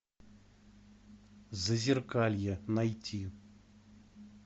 зазеркалье найти